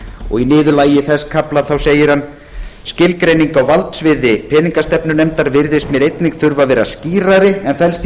og í niðurlagi þess kafla segir hann með leyfi forseta skilgreining á valdsviði peningastefnunefndar virðist mér einnig þurfi að vera skýrari en felst